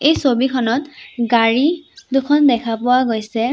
এই ছবিখনত গাড়ী দুখন দেখা পোৱা গৈছে।